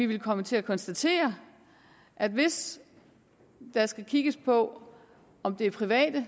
vil komme til at konstatere at hvis der skal kigges på om det er private